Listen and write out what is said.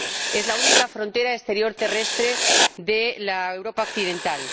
Es la única frontera exterior terrestre de la Europa occidental.